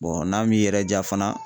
n'a m'i yɛrɛ jaa fana